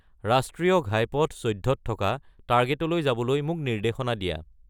ৰাষ্ট্ৰীয় ঘাইপথ ১৪ত থকা টাৰ্গেতলৈ যাবলৈ মোক নিৰ্দেশনা দিয়া